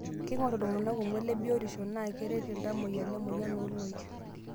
Keing'orr iltungana kumok le biotisho naa keret iltamoyia lemoyian ooloik.